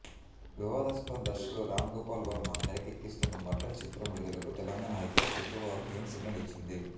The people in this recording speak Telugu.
వివాదాస్పద దర్శకుడు రామ్గోపాల్వర్మ తెరకెక్కిస్తున్న మర్డర్ చిత్రం విడుదలకు తెలంగాణ హైకోర్టు శుక్రవారం గ్రీన్ సిగ్నల్ ఇచ్చింది